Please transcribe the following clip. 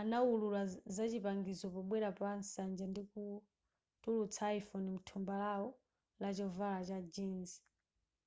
anawulula zachipangizo pobwera pa nsanja ndikutulutsa iphone mthumba lawo lachovala cha jeans